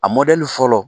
A mɔdɛli fɔlɔ